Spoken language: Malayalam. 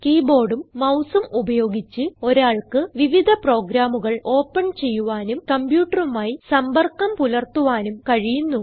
കീ ബോർഡും മൌസും ഉപയോഗിച്ച് ഒരാൾക്ക് വിവിധ പ്രോഗ്രാമുകൾ ഓപ്പൺ ചെയ്യുവാനും കംപ്യൂട്ടറുമായി സമ്പർക്കം പുലർത്തുവാനും കഴിയുന്നു